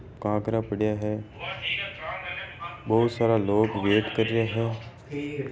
कांकरा पडिया है बहुत सारा लोग वेट कर रिया है।